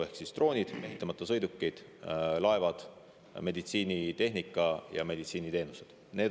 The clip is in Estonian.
Ehk siis droonid, mehitamata sõidukid, laevad, meditsiinitehnika ja meditsiiniteenused.